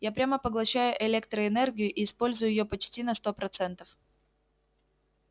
я прямо поглощаю электроэнергию и использую её почти на сто процентов